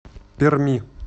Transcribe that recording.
перми